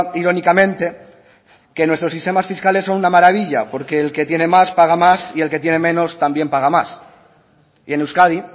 irónicamente que nuestros sistemas fiscales son una maravilla porque el que tiene más paga más y el que tiene menos también paga más y en euskadi